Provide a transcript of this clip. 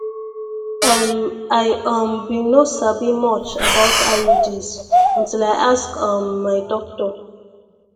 ehm i um been no sabi much about iuds until i ask um my doctor